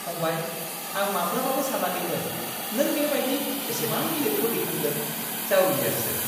फंबाय! आं माब्लाबाबो सानाखैमोन नों बेबायदि एसेबां गिलिरखौ दैखांगोन, जावलियासो! !